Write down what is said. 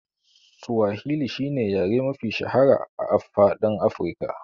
Suwahil shine yare mafi shahara a faɗin Afika.